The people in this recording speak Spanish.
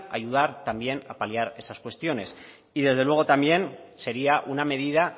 ayudar también a paliar esas cuestiones y desde luego también sería una medida